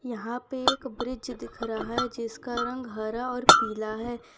यहां पे एक ब्रिज दिख रहा है जिसका रंग हरा और पीला है।